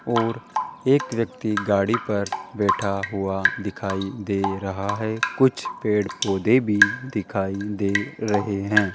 और एक व्यक्ति गाड़ी पर बैठा हुआ दिखाई दे रहा है कुछ पेड़ पौधे भी दिखाई दे रहे हैं।